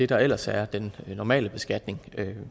der ellers er den normale beskatning